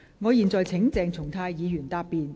我現在請鄭松泰議員答辯。